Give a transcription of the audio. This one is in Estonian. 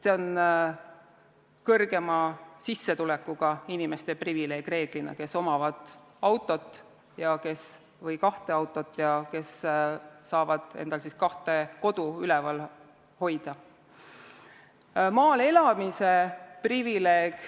See on reeglina kõrgema sissetulekuga inimeste privileeg, kellel on auto või kaks autot ja kes saavad endale kahte kodu lubada.